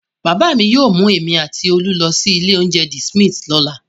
Bàbá mi yóò mú èmi àti Olú lọ sí ilé-oúnjẹ The Smith lọ́la.